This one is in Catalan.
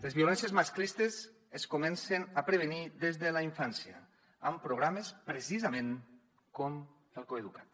les violències masclistes es comencen a prevenir des de la infància amb programes precisament com el coeduca’t